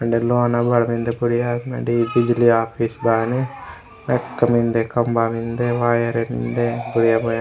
वेंडे लोना अबाड़ मेन्दे बुड़िया वेंडे बिजली ऑफिस बायने मेका मेन्दे खम्बा मेन्दे वायर मेन्दे बुड़िया - बुड़िया।